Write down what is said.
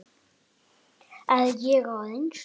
Er ég á reynslu?